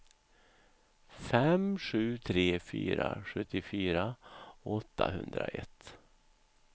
fem sju tre fyra sjuttiofyra åttahundraett